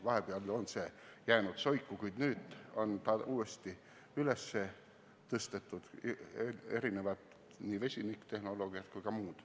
Vahepeal on see soiku jäänud, kuid nüüd on see uuesti üles tõstetud ja tulevad nii vesiniktehnoloogiad kui ka muud.